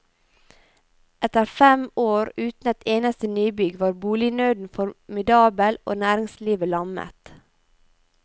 Etter fem år uten et eneste nybygg var bolignøden formidabel og næringslivet lammet.